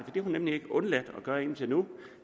har hun nemlig undladt at gøre indtil nu